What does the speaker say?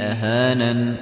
أَهَانَنِ